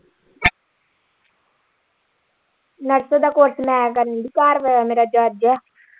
ਦਾ course ਮੈਂ ਕਰਨ ਦੀ ਘਰਵਾਲਾ ਮੇਰਾ judge ਆ।